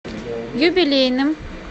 юбилейным